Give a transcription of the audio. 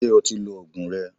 Ṣé o ti lo Ògùn rẹ?